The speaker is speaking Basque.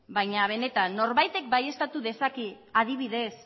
baina beneta n norbaitek baieztatu dezake adibidez